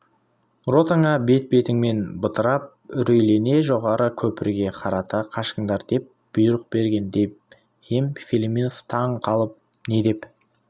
ротаңа бет-бетіңмен бытырап үрейлене жоғары көпірге қарата қашыңдар деп бұйрық бергін деп ем филимонов таң қалып не деп